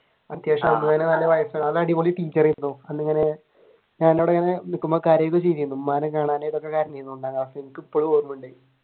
അത്യാവശ്യം അടിപൊളി ടീച്ചർ ആയിരുന്നു നിക്കുമ്പോ കരയുക ഒക്കെ ചെയ്യുമായിരുന്നു ഉമ്മാനെ കാണാനായിട്ട് ഒക്കെ കരഞ്ഞിരുന്നു ഒന്നാണ് ക്ലാസിൽ വെച്ചിട്ട് അത് എനിക്ക് ഇപ്പഴും ഓർമയുണ്ട്.